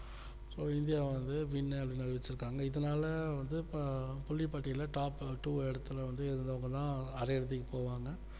so India வந்து winner னு அறிவிச்சுருக்காங்க இதுனால வந்து இப்போ புள்ளி பட்டியல்ல top two எடத்துல வந்து இருந்தாங்கன்னா அரைஇறுதிக்கு போவாங்க